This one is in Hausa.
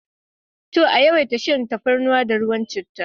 To! a yawaita shan tafarnuwa da ruwan chittah.